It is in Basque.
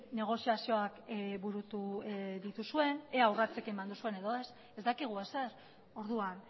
negoziazioak burutu dituzuen ea urratsik eman duzuen edo ez ez dakigu ezer orduan